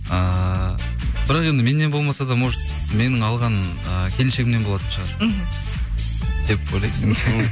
ыыы бірақ енді меннен болмаса да может менің алған ы келіншегімнен болатын шығар мхм деп ойлаймын